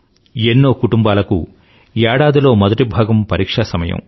ఎన్నో కుటుంబాలకు ఏడాదిలో మొదటిభాగం పరీక్షా సమయం